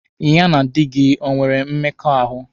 Ya na di gị o nwere mmekọahụ?